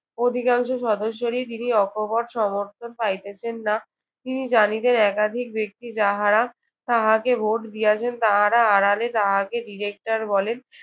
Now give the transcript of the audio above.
অধিকাংশ সদস্যরই তিনি অকপট সমর্থন পাইতেছেন না। তিনি জানিতেন একাধিক ব্যক্তি যাহারা তাহাকে ভোট দিয়াছেন তাহারা আড়ালে তাহাকে director বলেন।